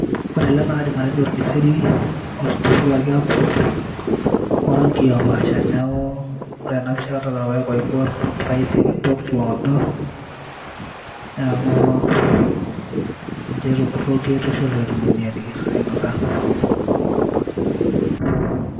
Ore ele naa kaidim atejo olkeseri oitushulaki aakur orankii opaasha neeku, ore te a pisha kadolta irpaek oibor, irpaek sikitok iloodo, neeku nejia etiu kitushul pee etumokini aateyier, ainosa.